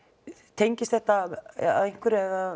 tengist þetta að einhverju eða